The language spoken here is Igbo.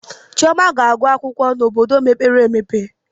Chioma ga-agụ akwụkwọ n'obodo mepere.